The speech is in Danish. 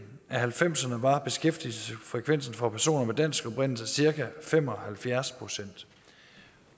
halvfemserne var beskæftigelsesfrekvensen for personer af dansk oprindelse cirka fem og halvfjerds procent